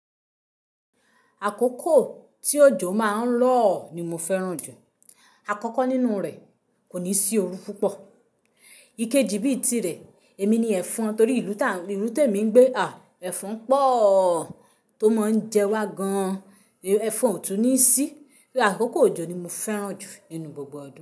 Àkókò tí òjò má a ń rọ̀ ni mo fẹ́ràn jù. Àkọ́kọ́ nínú rẹ̀ kò ní sí oru púpọ̀. Ikeji bíi tirẹ̀, èmi ni ẹ̀fọn torí ìlú tí èmi ń gbé a, ẹ̀fọn pọ̀ tó máa ń jẹ wá gan an. Ẹ̀fọn ò tún ní sí. Àkókò òjò ni mo fẹ́ràn jù nínú gbogbo òjò.